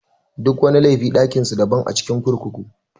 Duk wani laifi ɗakin su daban a cikin kurkuku.